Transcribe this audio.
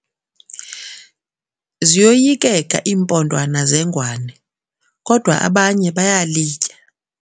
Ziyoyikeka iimpondwana zengwane kodwa abanye bayalitya.